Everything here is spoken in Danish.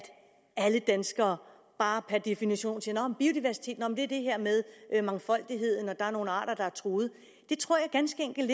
alle danskere per definition ved at mangfoldighed og nogle arter der er truet det tror jeg ganske enkelt